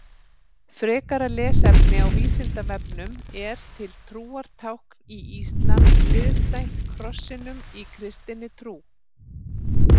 Frekara lesefni á Vísindavefnum Er til trúartákn í íslam hliðstætt krossinum í kristinni trú?